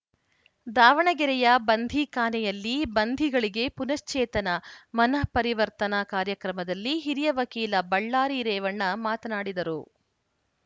ದಾವಣಗೆರೆಯ ಬಂಧೀಖಾನೆಯಲ್ಲಿ ಬಂಧಿಗಳಿಗೆ ಪುನಶ್ಚೇತನ ಮನಃ ಪರಿವರ್ತನಾ ಕಾರ್ಯಕ್ರಮದಲ್ಲಿ ಹಿರಿಯ ವಕೀಲ ಬಳ್ಳಾರಿ ರೇವಣ್ಣ ಮಾತನಾಡಿದರು